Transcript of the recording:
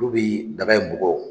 Nu bɛ daga in bugɔ